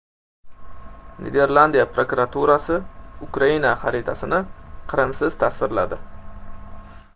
Niderlandiya prokuraturasi Ukraina xaritasini Qrimsiz tasvirladi.